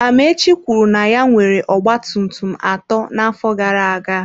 Amaechi kwuru na ya nwere ọgba tum tum atọ n'afọ gara aga.